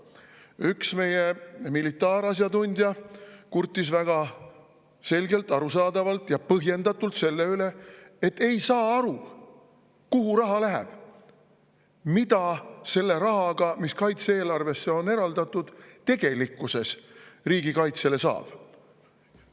Üks meie militaarasjatundja kurtis väga selgelt, arusaadavalt ja põhjendatult selle üle, et ei saa aru, kuhu raha läheb, mida selle rahaga, mis kaitse‑eelarvesse on eraldatud, tegelikkuses riigikaitse teha saab.